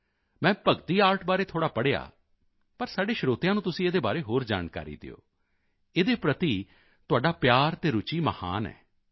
ਮੈਂ ਭਗਤੀ ਆਰਟ ਬਾਰੇ ਥੋੜ੍ਹਾ ਪੜ੍ਹਿਆ ਪਰ ਸਾਡੇ ਸਰੋਤਿਆਂ ਨੂੰ ਤੁਸੀਂ ਇਸ ਦੇ ਬਾਰੇ ਹੋਰ ਜਾਣਕਾਰੀ ਦਿਓ ਇਸ ਦੇ ਪ੍ਰਤੀ ਤੁਹਾਡਾ ਪਿਆਰ ਅਤੇ ਰੁਚੀ ਮਹਾਨ ਹੈ